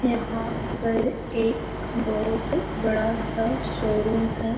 यहाँ पर एक बहुत बड़ा सा शोरूम है।